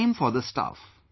same for staff